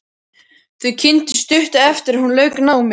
Þau kynntust stuttu eftir að hún lauk námi.